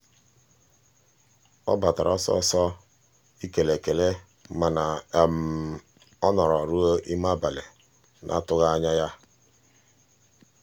ọ batara ọsịsọ ị kele ekele mana ọ nọrọ ruo ime abalị n'atụghị anya ya.